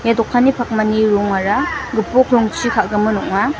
ia dokanni pakmani rongara gipok rongchi ka·gimin ong·a.